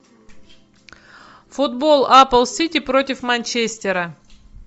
футбол апл сити против манчестера